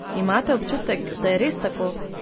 Imate občutek, da je res tako?